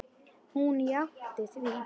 Hún játti því.